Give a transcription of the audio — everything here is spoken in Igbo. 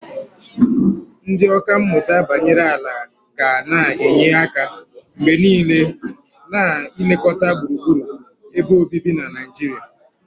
Ndị ọkà mmụta banyere ala ga na-enye aka mgbe niile na ilekọta gburugburu ebe obibi na Naijiria.